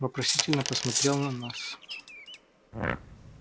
вопросительно посмотрел на нас